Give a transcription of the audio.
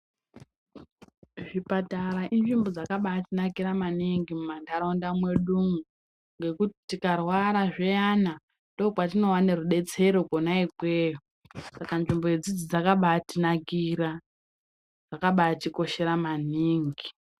Zvipatara inzvimbo dzakabai tinakira maningi mu mandaraunda mwedumwo ngekuti tika rwara zviyana ndo patino wane rubetsero kona ikweyo saka nzvimbo idzidzi dzakabai tinakira zvakabai tikoshera maningi.